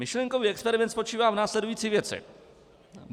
Myšlenkový experiment spočívá v následující věci.